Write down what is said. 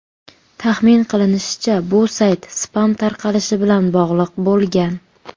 Taxmin qilinishicha, bu sayt spam tarqalishi bilan bog‘liq bo‘lgan.